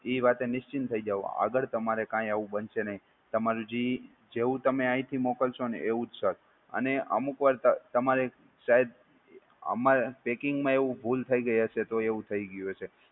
ઈ વાતે નિશ્ચિંત થઈ જાઓ અગર તમારે કઈં આવું બનસે નઈ. તમારે જી જેવુ તમે આઈ થી મોકલસોને એવુજ સર. અને અમુક વાર તમારે શાયદ અમારે પૅકિંગ માં ભૂલ થઈ ગઈ હશે તો એવું થઈ ગયું હશે.